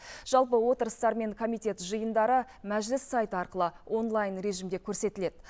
жалпы отырыстар мен комитет жиындары мәжіліс сайты арқылы онлайн режимде көрсетіледі